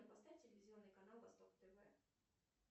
поставь телевизионный канал восток тв